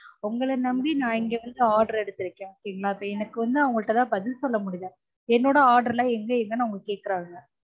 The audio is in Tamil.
உங்கள நம்பி நான் இங்க வந்து order எடுத்திருக்கேன் okay ங்கலா இப்ப எனக்கு வந்து அவங்க கிட்டயெல்லா பதில் சொல்ல முடியல என்னொட order எல்லாம் எங்க எங்கனு அவங்க கேக்குறாங்க